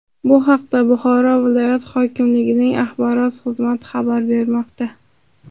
Bu haqda Buxoro viloyat hokimligining axborot xizmati xabar bermoqda .